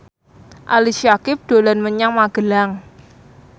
Ali Syakieb dolan menyang Magelang